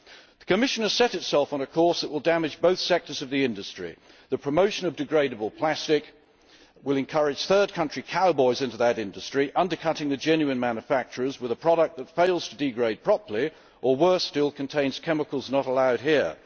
The Commission has set itself on a course that will damage both sectors of the industry the promotion of degradable plastic will encourage third country cowboys into that industry, undercutting the genuine manufacturers with a product which fails to degrade properly or worse still contains chemicals not allowed here.